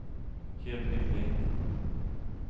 Hedvig Lindh